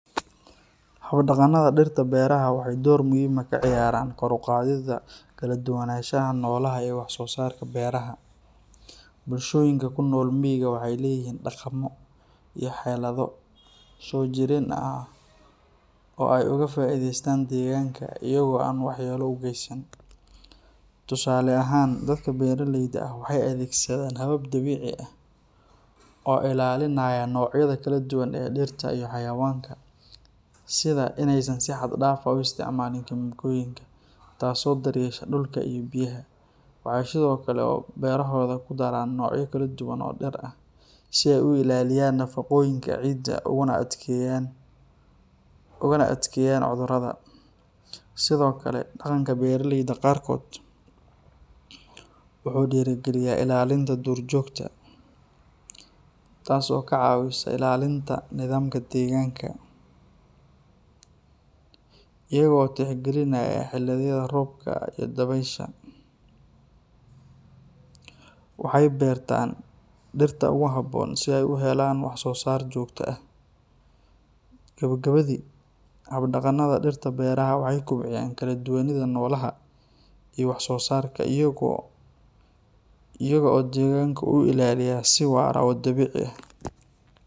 Hab-dhaqanada dirta beraha waxay door muhiim ah ka ciyaaraan kor u qaadidda kala duwanaanshaha noolaha iyo wax-soo-saarka beeraha. Bulshooyinka ku nool miyiga waxay leeyihiin dhaqammo iyo xeelado soo jireen ah oo ay uga faa’iidaystaan deegaanka, iyaga oo aan waxyeello u geysan. Tusaale ahaan, dadka beeraleyda ah waxay adeegsadaan habab dabiici ah oo ilaalinaya noocyada kala duwan ee dhirta iyo xayawaanka, sida inaysan si xad dhaaf ah u isticmaalin kiimikooyinka, taasoo daryeesha dhulka iyo biyaha. Waxay kale oo beerahooda ku daraan noocyo kala duwan oo dhir ah si ay u ilaaliyaan nafaqooyinka ciidda uguna adkeeyaan cudurrada. Sidoo kale, dhaqanka beeraleyda qaarkood wuxuu dhiirrigeliyaa ilaalinta duurjoogta, taasoo ka caawisa ilaalinta nidaamka deegaanka. Iyaga oo tixgelinaya xilliyada roobka iyo dabaysha, waxay beertaan dhirta ugu habboon si ay u helaan wax-soo-saar joogto ah. Gabagabadii, hab-dhaqanada dirta beraha waxay kobciyaan kala duwanida noolaha iyo wax-soo-saarka iyaga oo deegaanka u ilaaliya si waara oo dabiici ah.